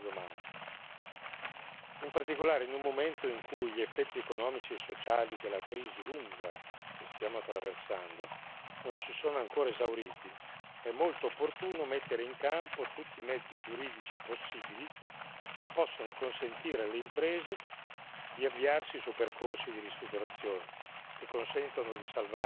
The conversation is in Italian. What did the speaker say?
In particolare, in un momento in cui gli effetti economici e sociali della crisi lunga che stiamo attraversando non si sono ancora esauriti, è molto opportuno mettere in campo tutti i mezzi giuridici possibili che possano consentire alle imprese di avviarsi su percorsi di ristrutturazione, che consentono di salvare l'attività economica prima